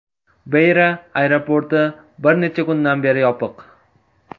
Beyra aeroporti bir necha kundan beri yopiq.